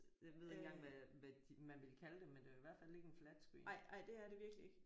Jeg ved ikke engang hvad hvad de man ville kalde dem men det er jo i hvert fald ikke en flat-screen